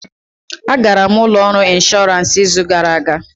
A gara m ụlọ ọrụ inshọransị izu gara aga